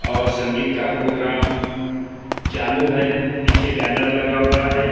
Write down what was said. और संगीत का प्रोग्राम चालू है पीछे बैनर लगा हुआ है ।